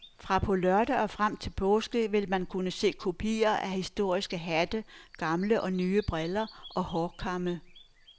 Fra på lørdag og frem til påske vil man kunne se kopier af historiske hatte, gamle og nye briller og hårkamme.